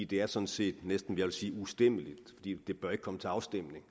det er sådan set næsten ustemmeligt og det bør ikke komme til afstemning